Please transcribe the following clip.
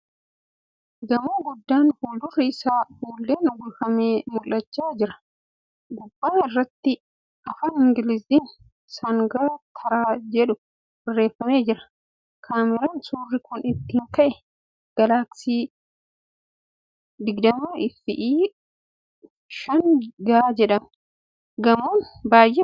Gamoo guddaan fuuldurri isaa fuulleen uwwifame mul'achaa jira. Gubbaa irratti Afaan Ingiliiziin ' Sangaa taraa ' jedhu barreeffamee jira. Kaameereen suurri kun ittiin ka'e 'Gaalaaksii s20FE 5G' jedhama .Gamoon baay'ee bareeda.